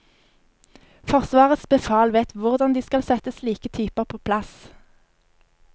Forsvarets befal vet hvordan de skal sette slike typer på plass.